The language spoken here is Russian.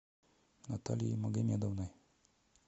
натальей магомедовной